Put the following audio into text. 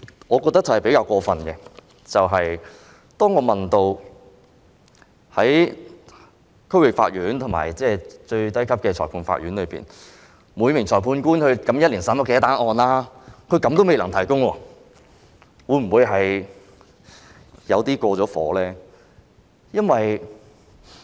我認為比較過分的一點，就是當我問到區域法院及最低級的裁判法院，每名裁判官及法官一年審理的案件數目時，司法機構居然亦未能提供。